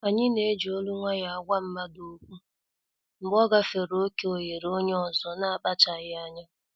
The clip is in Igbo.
Anyi na-eji olu nwayọ agwa mmadụ okwu mgbe ọ gafere oké oghere onye ọzọ n'akpachaghi anya.